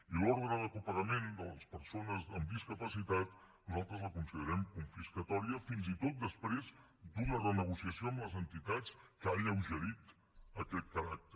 i l’ordre de copagament de les persones amb discapacitat nosaltres la considerem confiscatòria fins i tot després d’una renegociació amb les entitats que ha alleugerit aquest caràcter